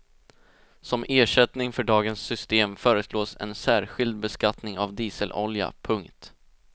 Som ersättning för dagens system föreslås en särskild beskattning av dieselolja. punkt